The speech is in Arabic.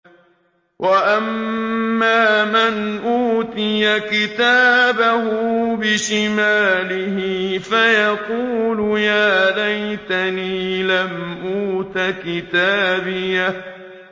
وَأَمَّا مَنْ أُوتِيَ كِتَابَهُ بِشِمَالِهِ فَيَقُولُ يَا لَيْتَنِي لَمْ أُوتَ كِتَابِيَهْ